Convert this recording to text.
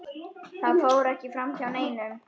Það fór ekki framhjá neinum.